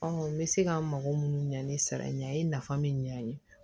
n bɛ se ka n mago minnu ɲa ni sara in ye a ye nafa min ɲ'an ye